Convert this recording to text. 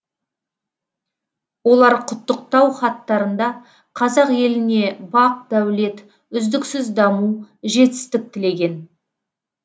олар құттықтау хаттарында қазақ еліне бақ дәулет үздіксіз даму жетістік тілеген